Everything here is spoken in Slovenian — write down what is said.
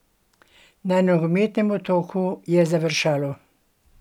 Na nogometnem Otoku je završalo!